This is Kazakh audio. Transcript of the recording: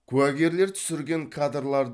куәгерлер түсірген кадрлар